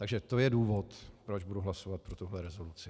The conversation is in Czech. Takže to je důvod, proč budu hlasovat pro tuhle rezoluci.